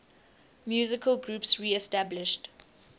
musical groups reestablished